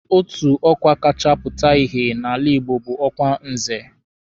Otu ọkwa kacha pụta ìhè n'ala Igbo bụ ọkwa Nze